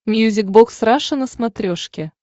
мьюзик бокс раша на смотрешке